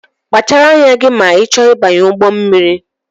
Kpachara anya gị ma I chọọ ịbanye ụgbọ mmiri!